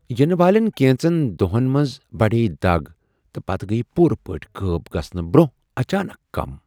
ینہٕ والٮ۪ن کینژن دۄہن منٛز بڑیے دگ تہٕ پتہٕ گٔیۍ پوٗرٕ پٲٹھۍ غٲب گژھنہٕ برٛونٛہہ اچانک کم۔